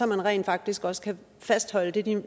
man rent faktisk også kan fastholde det